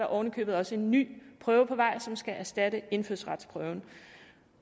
oven i købet også en ny prøve på vej som skal erstatte indfødsretsprøven